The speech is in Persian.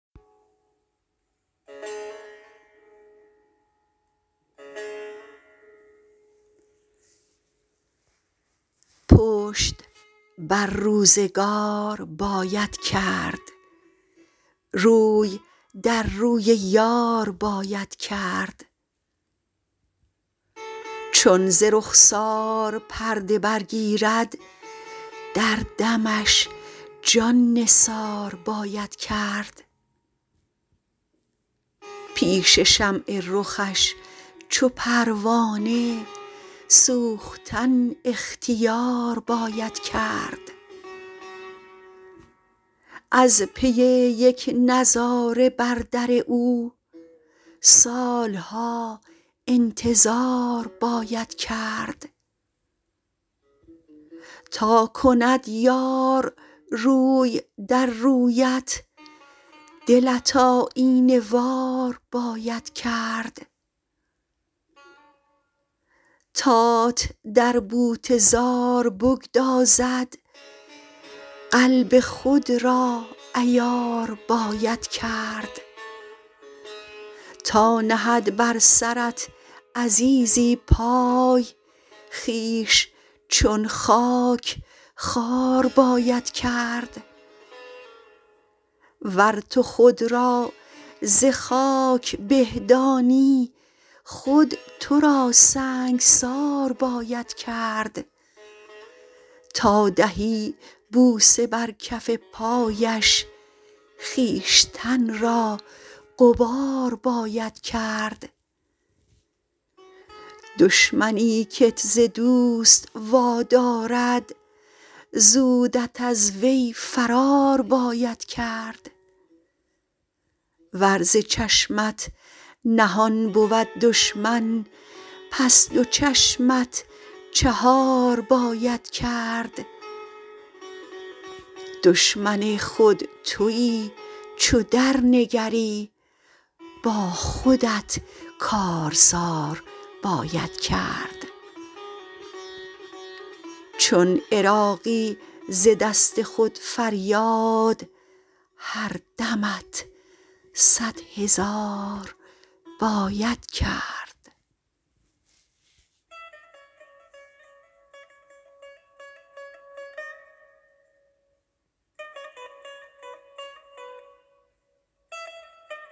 پشت بر روزگار باید کرد روی در روی یار باید کرد چون ز رخسار پرده برگیرد در دمش جان نثار باید کرد پیش شمع رخش چو پروانه سوختن اختیار باید کرد از پی یک نظاره بر در او سال ها انتظار باید کرد تا کند یار روی در رویت دلت آیینه وار باید کرد تات در بوته زار بگدازد قلب خود را عیار باید کرد تا نهد بر سرت عزیزی پای خویش چون خاک خوار باید کرد ور تو خود را ز خاک به دانی خود تو را سنگسار باید کرد تا دهی بوسه بر کف پایش خویشتن را غبار باید کرد دشمنی کت ز دوست وا دارد زودت از وی فرار باید کرد ور ز چشمت نهان بود دشمن پس دو چشمت چهار باید کرد دشمن خود تویی چو در نگری با خودت کارزار باید کرد چون عراقی ز دست خود فریاد هر دمت صدهزار باید کرد